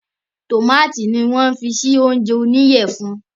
Tómátì ni wọ́n fi sí oúnjẹ oníyẹ funfun